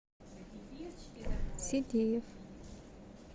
сидеев